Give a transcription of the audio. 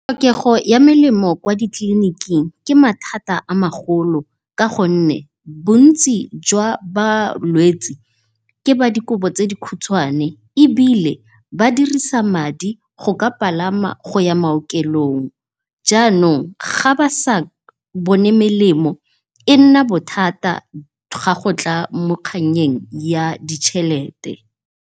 Tlhokego ya melemo kwa di tleliniking ke mathata a magolo ka gonne bontsi jwa balwetse ke ba dikobo tse dikhutshwane, ebile ba dirisa madi go ka palama go ya maokelong janong ga ba sa bone melemo e nna bothata ga go tla mo kgannyeng ya dichelete.